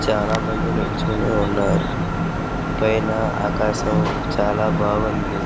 చాలా మంది నిల్చొని ఉన్నారు . పైన ఆకాశం చాలా బాగుంది.